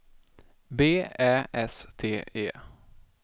B Ä S T E